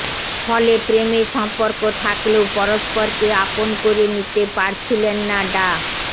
ফলে প্রেমের সম্পর্ক থাকলেও পরস্পরকে আপন করে নিতে পারছিলেন না ডা